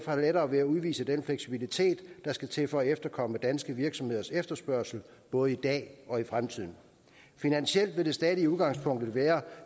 har lettere ved at udvise den fleksibilitet der skal til for at efterkomme danske virksomheders efterspørgsel både i dag og i fremtiden finansielt vil det stadige udgangspunkt være